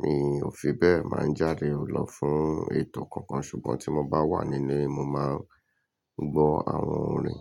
Mi ò fi bẹ́ẹ̀ máa ń jáde lọ fún ètò kankan ṣùgbọ́n tí mo bá wà níle, mo máa ń gbọ́ àwọn orin.